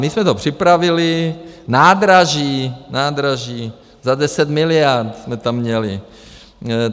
My jsme to připravili, nádraží, nádraží za 10 miliard jsme tam měli.